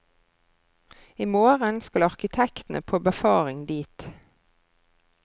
I morgen skal arkitektene på befaring dit.